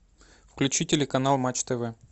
включи телеканал матч тв